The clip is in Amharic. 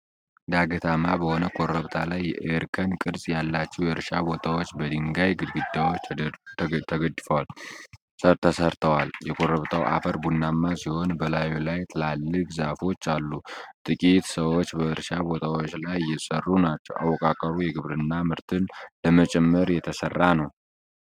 ዳገታማ በሆነ ኮረብታ ላይ የእርከን ቅርጽ ያላቸው የእርሻ ቦታዎች በድንጋይ ግድግዳዎች ተደግፈው ተሠርተዋል። የኮረብታው አፈር ቡናማ ሲሆን በላዩ ላይ ትላልቅ ዛፎች አሉ። ጥቂት ሰዎች በእርሻ ቦታዎቹ ላይ እየሰሩ ናቸው። አወቃቀሩ የግብርና ምርትን ለመጨመር የተሰራ ነው።